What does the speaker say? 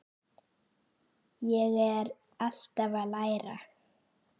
Ég er alltaf að læra.